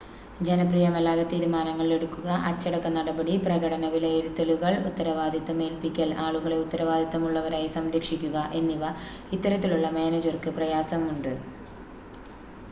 ജനപ്രിയമല്ലാത്ത തീരുമാനങ്ങൾ എടുക്കുക അച്ചടക്ക നടപടി പ്രകടന വിലയിരുത്തലുകൾ ഉത്തരവാദിത്തം ഏൽപ്പിക്കൽ ആളുകളെ ഉത്തരവാദിത്തമുള്ളവരായി സംരക്ഷിക്കുക എന്നിവ ഇത്തരത്തിലുള്ള മാനേജർക്ക് പ്രയാസമുണ്ട്